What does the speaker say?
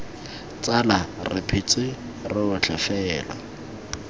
tsala re phetse rotlhe fela